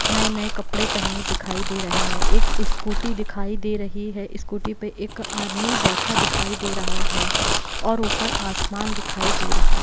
नये नये कपड़े पहने दिखाई दे रहे है एक स्कूटी दिखाई दे रही है स्कूटी पे एक आदमी बैठा दिखाई दे रहा है और ऊपर आसमान दिखाई दे रहा है।